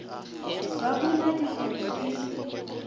ba bule dikgwebo e le